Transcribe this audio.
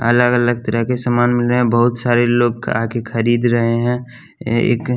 अलग अलग तरह के सामान मिल रहे हैं बहुत सारे लोग आके खरीद रहे हैं ए एक --